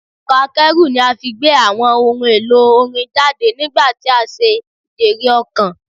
Ọkọ̀ akẹ́rù ni a fi gbé àwọn ohun-èlò orin jáde nígbà tí a ṣe ijèrè-ọ̀kàn.